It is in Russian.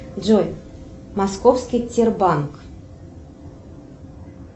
джой московский тербанк